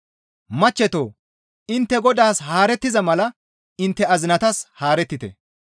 Machcheto intte Godaas haarettiza mala intte azinatas haarettite.